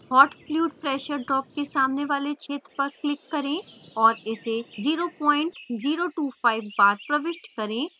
hot fluid pressure drop के सामने वाले क्षेत्र पर click करें और इसे 0025 bar प्रविष्ट करें